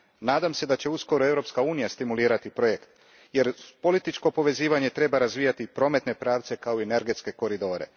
Nadam se da će uskoro i Europska unija stimulirati projekt, jer uz političko povezivanje treba razvijati i prometne pravce kao i energetske koridore.